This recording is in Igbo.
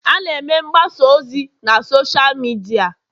a na-eme mgbasa ozi na Sọsha midia